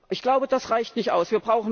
Ich glaube, das reicht nicht aus.